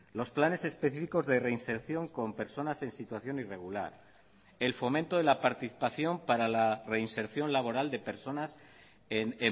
los planes específicos de reinserción con personas en situación irregular el fomento de la participación para la reinserción laboral de personas en